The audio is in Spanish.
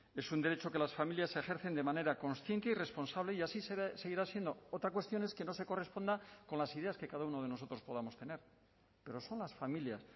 es un derecho que las familias ejercen de manera consciente y responsable y así seguirá siendo otra cuestión es que no se corresponda con las ideas que cada uno de nosotros podamos tener pero son las familias